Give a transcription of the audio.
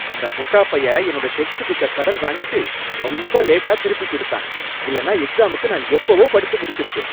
அந்த முட்டாப்பய என்னோட டெக்ஸ்ட் புக்க கடன்வாங்கிட்டு ரொம்ப லேட்டா திருப்பிக் கொடுத்தான், இல்லன்னா எக்ஸாமுக்கு நான் எப்பவோ படிச்சு முடிச்சிருப்பேன்.